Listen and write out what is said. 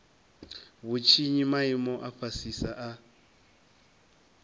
vhutshinyi maimo a fhasisa a